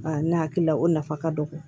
ne hakili la o nafa ka dɔgɔ